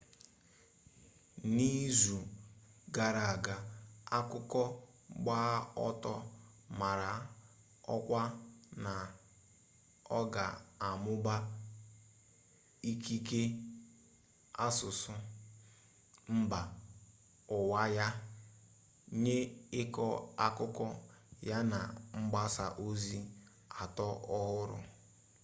n'izu gara aga akụkọ gba ọtọ mara ọkwa na ọ ga-amụba ikike asụsụ mba ụwa ya nye ịkọ akụkọ ya na mgbasa ozi atọ ọhụrụ